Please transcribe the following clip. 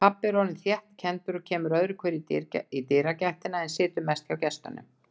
Pabbi er orðinn þéttkenndur og kemur öðruhverju í dyragættina, en situr mest hjá gestunum.